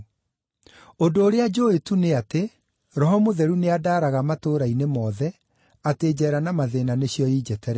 Ũndũ ũrĩa njũũĩ tu nĩ atĩ, Roho Mũtheru nĩandaaraga atĩ matũũra-inĩ mothe, njeera na mathĩĩna nĩcio injetereire.